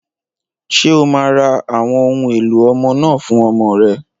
Ṣé o máa ra àwọn ohun èlò ọmọ náà fún ọmọ rẹ?